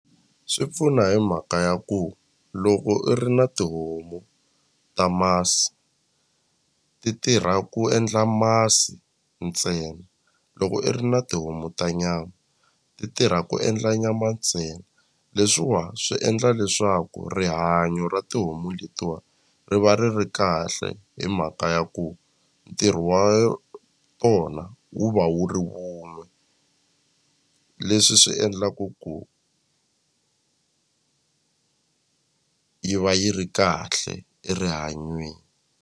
Swi pfuna hi mhaka ya ku loko i ri na tihomu ta masi ti tirha ku endla masi ntsena loko i ri na tihomu ta nyama ti tirha ku endla nyama ntsena leswiwa swi endla leswaku rihanyo ra tihomu letiwa ri va ri ri kahle hi mhaka ya ku ntirho wa tona wona wu va wu ri wun'we leswi swi endlaku ku yi va yi ri kahle erihanyweni.